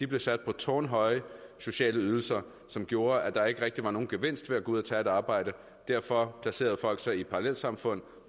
blev sat på tårnhøje sociale ydelser som gjorde at der ikke rigtig var nogen gevinst ved at gå ud og tage et arbejde derfor placerede folk sig i parallelsamfund